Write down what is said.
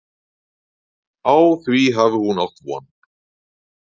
Á því hafi hún átt von.